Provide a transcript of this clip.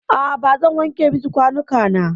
A'a bazan wanke miki kwanuka na.